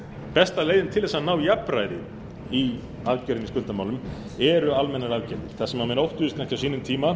besta leiðin til að ná jafnræði í aðgerðum í skuldamálum eru almennar aðgerðir það sem menn óttuðust mest á sínum tíma